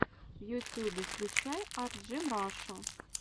в ютюбе включай арджимрашу